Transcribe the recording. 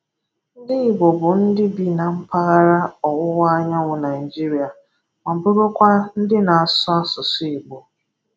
Ndị Igbo bụ ndị bi na mpaghara Ọwụwa Anyanwụ Naịjirịa ma bụrụkwa ndị na-asụ asụsụ Igbo.